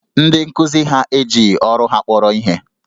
Ndị nkuzi ha ejighi ọrụ ha kpọrọ ihe